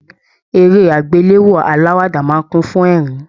Eré agbelewo aláwàdà máa n kún fún ẹ̀rín.